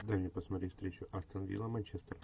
дай мне посмотреть встречу астон вилла манчестер